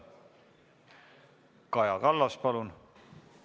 Kaja Kallas, palun!